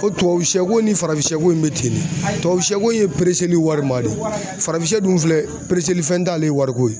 Ko tubabusiyɛko in ni farafinsiyɛ bɛ ten de tubabusiyɛko in ye warima de faransiyɛ dun filɛ fɛn t'ale ye wariko ye.